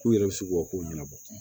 K'u yɛrɛ bɛ sugu ka ko ɲɛnabɔ